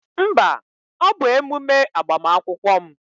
Mba, ọ bụ emume agbamakwụkwọ m